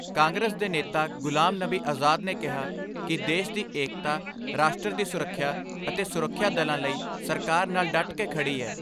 ਗੁਲਾਮ ਨਬੀ ਆਜ਼ਾਦ ਨੇ ਕਿਹਾ ਕਿ ਦੇਸ਼ ਦੀ ਏਕਤਾ, ਰਾਸ਼ਟਰ ਦੀ ਸੁਰੱਖਿਆ ਅਤੇ ਸੁਰੱਖਿਆ ਦਲਾਂ ਲਈ ਸਰਕਾਰ ਨਾਲ ਡਟ ਕੇ ਖੜ੍ਹੀ ਏ।